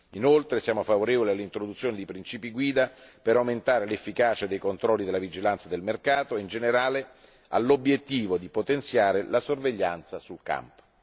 Siamo inoltre favorevoli all'introduzione di principi guida per aumentare l'efficacia dei controlli della vigilanza del mercato e in generale all'obiettivo di potenziare la sorveglianza sul campo.